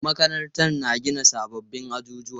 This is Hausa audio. Makarantar na gina sabbin ajujuwa.